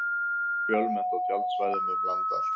Fjölmennt á tjaldsvæðum um land allt